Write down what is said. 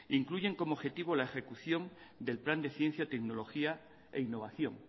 incluyen como objetivo la ejecución del plan de ciencia tecnología e innovación